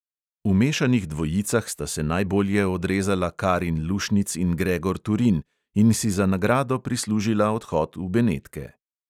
V mešanih dvojicah sta se najbolje odrezala karin lušnic in gregor turin in si za nagrado prislužila odhod v benetke.